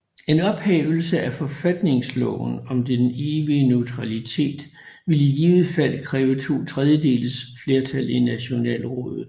En ophævelse af forfatningsloven om den evige neutralitet vil i givet fald kræve to tredjedeles flertal i Nationalrådet